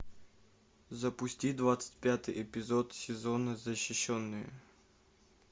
запусти двадцать пятый эпизод сезона защищенные